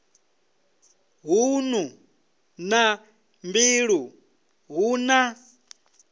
ṱhanu na mbili hu na